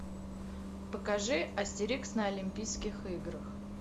покажи астерикс на олимпийских играх